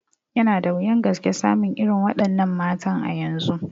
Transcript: Yana da wuyan gaske samun irin wa ɗannan matan a yanzu